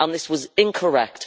This was incorrect